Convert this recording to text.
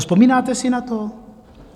Vzpomínáte si na to?